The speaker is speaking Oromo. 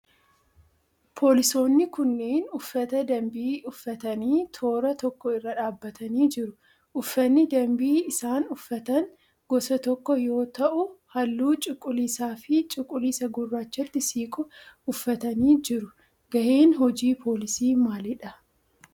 Poolisoonni kunneen uffata dambii uffatanii toora tokko irra dhaabbatanii jiru. Uffanni dambii isaan uffatan gosa tokko yoo ta'u halluu cuquliisa fi cuquliisa gurrraachatti siqu uffatanii jiru. Gaheen hojii poolisii maaliidha?